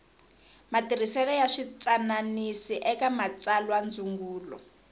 matirhisele ya switwananisi eka matsalwandzungulo